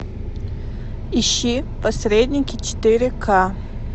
ищи посредники четыре ка